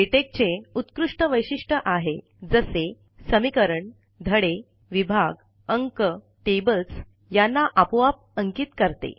LaTeX चे उत्कृष्ट वैशिष्ट आहे जसे समीकरण धडे विभाग अंक टेबल्स यांना आपोआप अंकित करते